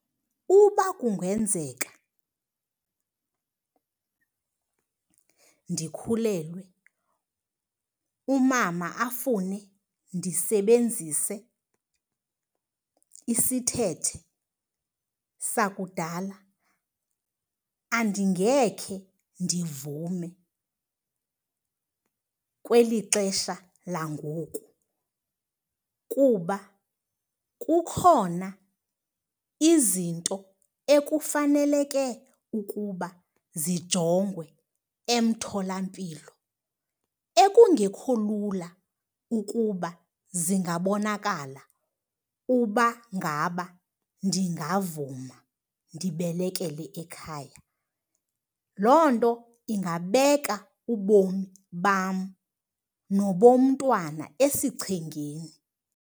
Uba kungenzeka ndikhulelwe, umama afune ndisebenzise isithethe sakudala, andingekhe ndivume kweli xesha langoku. Kuba kukhona izinto ekufaneleke ukuba zijongwe emtholampilo ekungekho lula ukuba zingabonakala uba ngaba ndingavuma ndibelekele ekhaya. Loo nto ingabeka ubomi bam nobomntwana esichengeni.